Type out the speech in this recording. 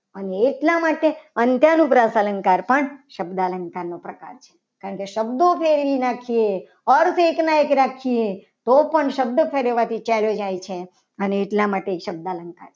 અને એટલા માટે અંત્યાનુપ્રાસ અલંકાર પણ શબ્દ અલંકાર નો પ્રકાર છે. કારણ કે શબ્દો ફેરવી નાખીએ અર્થ એકના એક રાખીએ તો પણ શબ્દ ફેરવવાથી ચાલ્યો જાય છે. અને એટલા માટે એ શબ્દ અલંકાર છે.